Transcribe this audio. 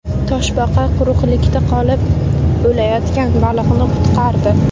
Toshbaqa quruqlikda qolib, o‘layotgan baliqni qutqardi .